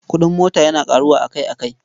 Kuɗin mota yana ƙaruwa akai-akai.